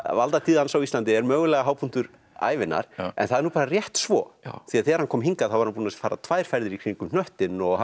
valdatíð hans á Íslandi er mögulega hápunktur ævinnar en það er nú bara rétt svo því þegar hann kom hingað var hann búinn að fara tvær ferðir í kringum hnöttinn og